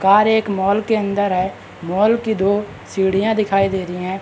Car एक mall के अंदर है मॉल की दो सीढ़ियां दिखाई दे रही है।